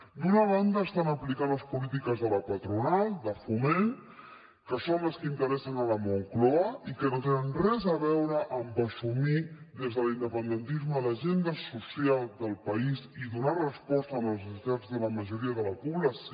d’una banda estan aplicant les polítiques de la patronal de foment que són les que interessen a la moncloa i que no tenen res a veure amb assumir des de l’independentisme l’agenda social del país i donar resposta a les necessitats de la majoria de la població